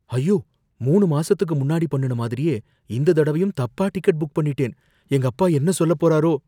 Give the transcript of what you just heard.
ஐயோ! மூனு மாசத்துக்கு முன்னாடி பண்ணுன மாதிரியே இந்த தடவயும் தப்பா டிக்கெட் புக் பண்ணிட்டேன், எங்க அப்பா என்ன சொல்லப் போறாரோ!